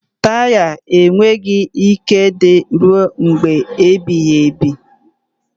Taya enweghị ike ịdịru mgbe ebighị ebi.